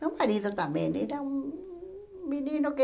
Meu marido também era um menino que...